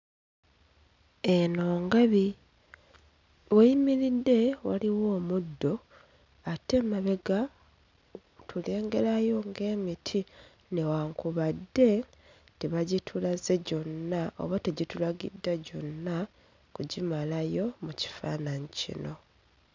Eno ngabi w'eyimiridde waliwo omuddo ate emabega tulengerayo ng'emiti newankubadde tebagitulaze gyonna oba tegitulagiddwa gyonna kugimalayo mu kifaananyi kino.